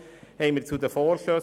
Kommissionspräsident der FiKo.